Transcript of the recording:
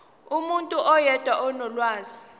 umuntu oyedwa onolwazi